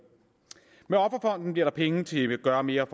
med offerfonden bliver der penge til at gøre mere